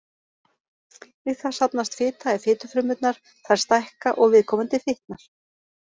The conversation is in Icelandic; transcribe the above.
Við það safnast fita í fitufrumurnar, þær stækka og viðkomandi fitnar.